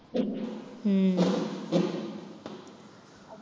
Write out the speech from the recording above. உம்